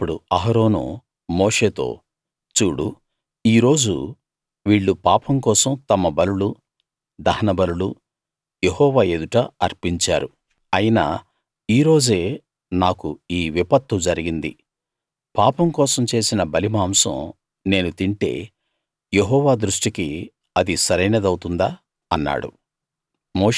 అప్పుడు అహరోను మోషేతో చూడు ఈ రోజు వీళ్ళు పాపం కోసం తమ బలులూ దహన బలులూ యెహోవా ఎదుట అర్పించారు అయినా ఈ రోజే నాకు ఈ విపత్తు జరిగింది పాపం కోసం చేసిన బలిమాంసం నేను తింటే యెహోవా దృష్టికి అది సరైనదవుతుందా అన్నాడు